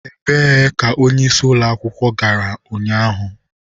Ebee ka onyeisi ụlọ akwụkwọ gara ụnyaahụ?